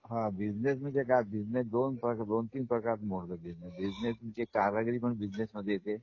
हां बिझनेस म्हणजे काय? बिझनेस दोन तीन प्रकारात मोडतात बिज़नस , बिझनेस म्हणजे कारागिरी पण बिझनेस मध्ये येते.